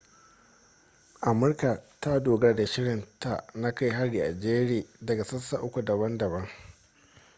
amurka ta dogara da shirin ta na kai hari a jere daga sassa uku daban-daban